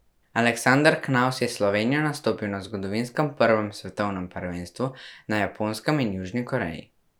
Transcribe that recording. Aleksander Knavs je s Slovenijo nastopil na zgodovinskem prvem svetovnem prvenstvu na Japonskem in Južni Koreji.